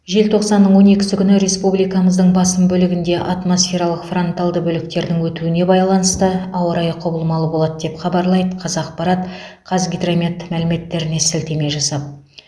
желтоқсанның он екісі күні республикамыздың басым бөлігінде атмосфералық фронталды бөліктердің өтуіне байланысты ауа райы құбылмалы болады деп хабарлайды қазақпарат қазгидромет мәліметтеріне сілтеме жасап